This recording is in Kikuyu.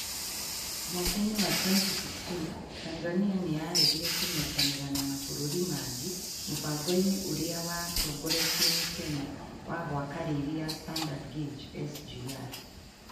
Mwaka-inĩ wa 2016, Tanzania nĩ yaregire kũnyitanĩra na mabũrũri mangĩ mũbango-inĩ ũrĩa watongoretio nĩ Kenya wa gwaka reri ya Standard Gauge (SGR),